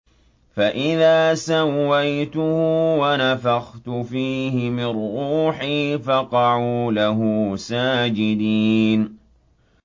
فَإِذَا سَوَّيْتُهُ وَنَفَخْتُ فِيهِ مِن رُّوحِي فَقَعُوا لَهُ سَاجِدِينَ